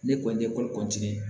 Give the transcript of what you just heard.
Ne kɔni ye ye